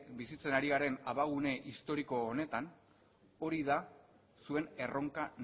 bizitzen ari garen abagune historiko honetan hori da zuen erronka